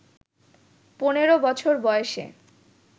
পনেরো বছর বয়সে